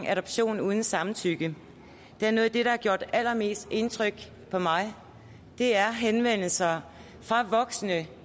adoption uden samtykke at noget af det der har gjort allermest indtryk på mig er henvendelser fra voksne